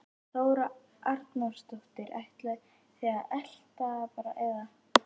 Þóra Arnórsdóttir: Ætlið þið að elta það bara eða?